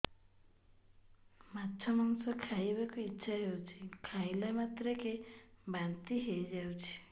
ମାଛ ମାଂସ ଖାଇ ବାକୁ ଇଚ୍ଛା ହଉଛି ଖାଇଲା ମାତ୍ରକେ ବାନ୍ତି ହେଇଯାଉଛି